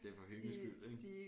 Det er for hyggens skyld ikke